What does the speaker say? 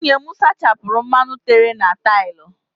Nwunye m sachapụrụ mmanụ tere na taịlụ.